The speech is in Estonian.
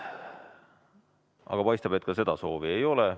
Aga paistab, et seda soovi ei ole.